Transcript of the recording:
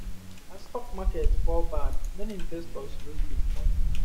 as stock market fall bad many investors lose big money